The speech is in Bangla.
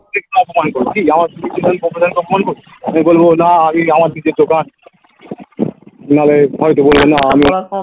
কি বলবো আমি বলবো না আমি আমার দিকে তো বা নাহলে হয়তো বলবে না